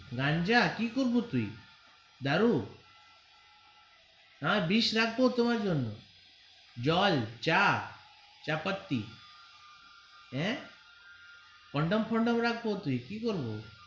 কি করবো তুই দারু दारु নয় বিষ রাখবো তোমার জন্য জল চা চাপাতি হ্যা condom ফন্দম রাখবো কি করবো.